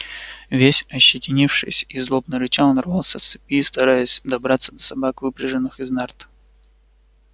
весь ощетинившись и злобно рыча он рвался с цепи и стараясь добраться до собак выпряженных из нарт